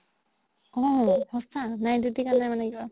অ সচা night duty কাৰণে মানে